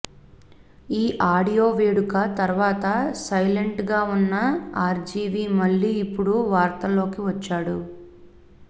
ఈ ఆడియో వేడుక తర్వాత సైలెంట్ గా ఉన్న ఆర్జీవీ మళ్ళీ ఇపుడు వార్తల్లోకి వచ్చాడు